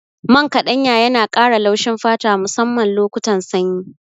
Man ƙaɗanya yana ƙara laushin fata musamman lokutan sanyi.